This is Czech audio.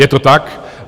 Je to tak.